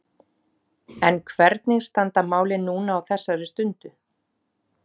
En hvernig standa málin núna á þessari stundu?